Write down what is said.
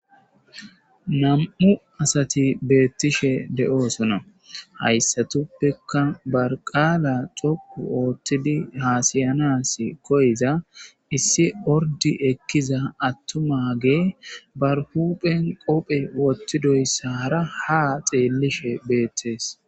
Nam'u asati bettishe de'ossona hayssatuppekka ba qalla dhoqqu oththidi hasayanas koyiza issi orrdi ekkiza attumagey bar huphphen kobbe wothidoysar ha xeelishe bettes.